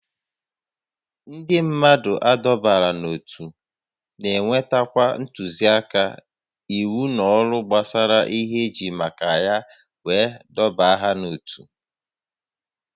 Ndị mmadụ adọbara n'ótú na-enweta ntụzịaka, íwú na ọrụ gbasara ihe ejiri maka ya wee dọbaa ha n'otu